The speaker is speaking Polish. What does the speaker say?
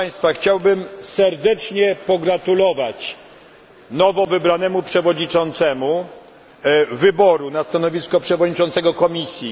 Chciałbym serdecznie pogratulować nowowybranemu przewodniczącemu wyboru na stanowisko przewodniczącego Komisji.